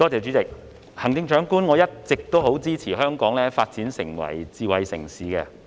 主席，行政長官，我一直十分支持香港發展成為智慧城市。